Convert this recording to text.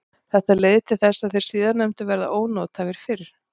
Þetta leiðir til þess að þeir síðarnefndu verða ónothæfir fyrr.